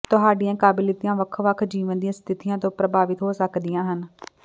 ਤੁਹਾਡੀਆਂ ਕਾਬਲੀਅਤਾਂ ਵੱਖ ਵੱਖ ਜੀਵਨ ਦੀਆਂ ਸਥਿਤੀਆਂ ਤੋਂ ਪ੍ਰਭਾਵਿਤ ਹੋ ਸਕਦੀਆਂ ਹਨ